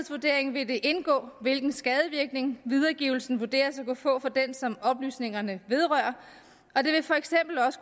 vil det indgå hvilken skadevirkning videregivelsen vurderes at kunne få for den som oplysningerne vedrører